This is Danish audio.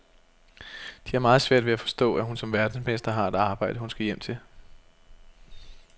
De har meget svært ved at forstå, at hun som verdensmester har et arbejde, hun skal hjem til.